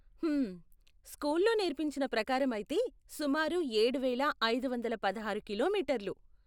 హ్మమ్, స్కూల్లో నేర్పించిన ప్రకారం అయితే సుమారు ఏడువేల ఐదు వందల పదహారు కిలోమీటర్లు ?